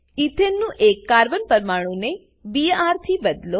ઈથેનનું એક કાર્બન પરમાણુ ને બીઆર થી બદલો